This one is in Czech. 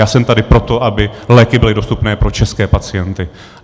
Já jsem tady proto, aby léky byly dostupné pro české pacienty.